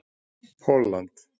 Pólland